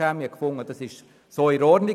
man fand, er sei so in Ordnung.